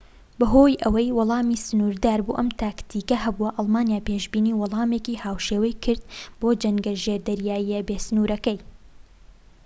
بەهۆی ئەوەی وەڵامی سنووردار بۆ ئەم تاکتیکە هەبوو ئەڵمانیا پێشبینی وەڵامێکی هاوشێوەی کرد بۆ جەنگە ژێردەریاییە بێ سنوورەکەی